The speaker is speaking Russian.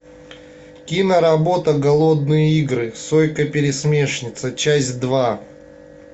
киноработа голодные игры сойка пересмешница часть два